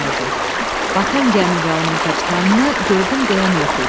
Batan gəmi və onun kapitanını gördüm deyən yox idi.